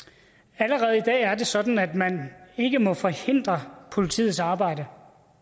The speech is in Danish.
allerede i dag er det sådan at man ikke må forhindre politiets arbejde